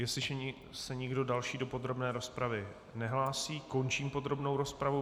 Jestliže se nikdo další do podrobné rozpravy nehlásí, končím podrobnou rozpravu.